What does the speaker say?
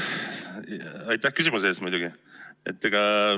Aitäh küsimuse eest muidugi!